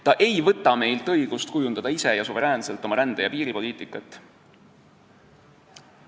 Ta ei võta meilt õigust kujundada ise ja suveräänselt oma rände- ja piiripoliitikat.